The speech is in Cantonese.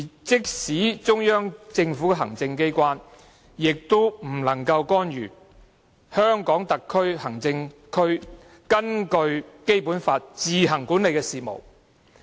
即使是中央政府的行政機關，也不能干預香港特別行政區根據《基本法》自行管理的事務。